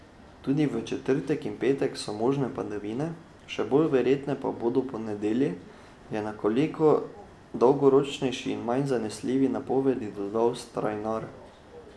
Tudi v četrtek in petek so možne padavine, še bolj verjetne pa bodo po nedelji, je o nekoliko dolgoročnejši in manj zanesljivi napovedi dodal Strajnar.